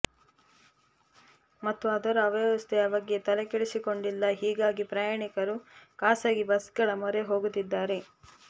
ಮತ್ತು ಅದರ ಅವ್ಯವಸ್ಥೆಯ ಬಗ್ಗೆ ತೆಲೆ ಕೆಡೆಸಿಕೊಂಡಿಲ್ಲ ಹೀಗಾಗಿ ಪ್ರಯಾಣಿಕರು ಖಾಸಗಿ ಬಸ್ಗಳ ಮೊರೆ ಹೋಗುತ್ತಿದ್ದಾರೆ